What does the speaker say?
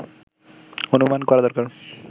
অনুমান করা দরকার